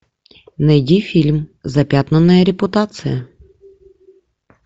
найди фильм запятнанная репутация